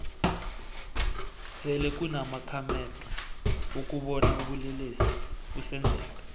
sele kunama khamexa wokubona ubulelesi busenzeka